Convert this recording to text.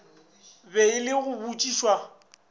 be e le go botšišwa